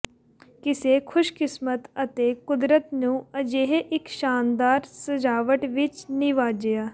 ਕਿਸੇ ਖੁਸ਼ਕਿਸਮਤ ਅਤੇ ਕੁਦਰਤ ਨੂੰ ਅਜਿਹੇ ਇੱਕ ਸ਼ਾਨਦਾਰ ਸਜਾਵਟ ਵਿੱਚ ਨਿਵਾਜਿਆ